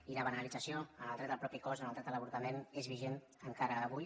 i la banalització en el dret al propi cos en el dret a l’avortament és vigent encara avui